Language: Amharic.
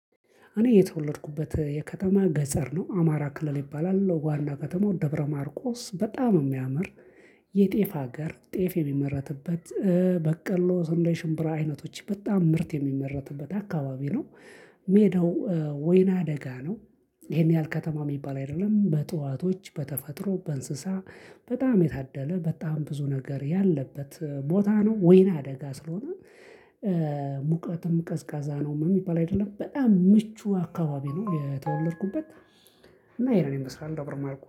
እኔ የተወለድኩበት የከተማ ገጠር ነው አማራ ክልል ይባላል ዋና ከተማው ደብረማርቆስ በጣም የሚያምር የጤፍ ሀገር ጤፍ የሚመረትበት በቀሎ ስንዴ ሽምብራ አይነቶች በጣም ምርት የሚመረትበት አካባቢ ነው። ሜዳው ወይና አደጋ ነው። ይሄን ያህል ከተማ የሚባል አይደለም በእጥዋቶች በተፈጥሮ በእንስሳ በጣም የታደለ በጣም ብዙ ነገር ያለበት ቦታ ነው። ወይና አደጋ ስለሆነ። ሙቀትም ቀዝቃዛ ነው የሚባል አይደለም በጣም ምቹ አካባቢ ነው። የተወለድኩበት እና ይሄንን ይመስላል ደብረማርቆስ